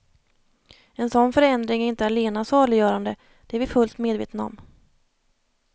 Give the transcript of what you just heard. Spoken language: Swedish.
En sådan förändring är inte allena saliggörande, det är vi fullt medvetna om.